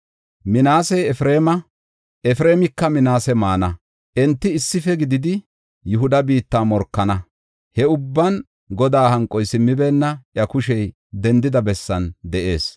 Minaasey Efreema, Efreemika Minaase maana; enti issife gididi Yihuda biitta morkana. He ubban Godaa hanqoy simmibeenna; iya kushey dendida bessan de7ees.